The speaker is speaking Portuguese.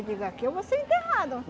Eu digo, aqui eu vou ser enterrada.